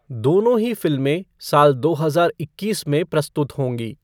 दोनों ही फिल्में साल दो हजार इक्कीस में प्रस्तुत होंगी।